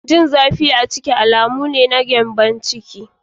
Jin zafi a ƙirji alamu ne na gyambon ciki/Olsa.